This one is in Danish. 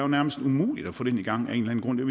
nærmest umuligt at få den i gang vi